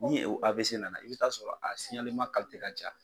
Ni i bɛ taa sɔrɔ a ka ca.